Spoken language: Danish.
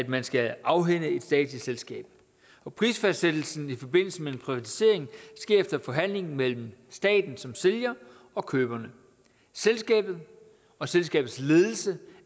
man skal afhænde et statsligt selskab og prisfastsættelsen i forbindelse med en privatisering sker efter forhandling mellem staten som sælger og køberne selskabet og selskabets ledelse